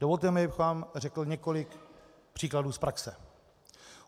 Dovolte mi, abych vám řekl několik příkladů z praxe.